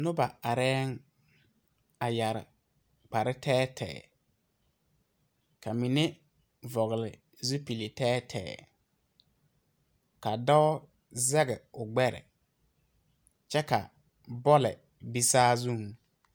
Nuba arẽ a yare kpare teɛ teɛ ka mine vɔgle zupili teɛ teɛ ka doɔ zege ɔ gbere kye ka boli be saa zung.